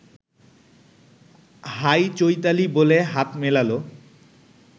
high Chaitali বলে হাত মেলাল